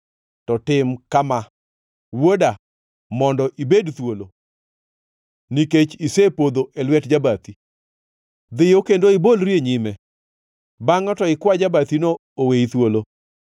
to tim kama, wuoda, mondo ibed thuolo, nikech isepodho e lwet jabathi: Dhiyo kendo ibolri e nyime; bangʼe to ikwa jabathino oweyi thuolo!